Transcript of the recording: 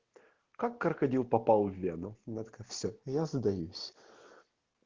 как крокодил попал в вену она такая всё я сдаюсь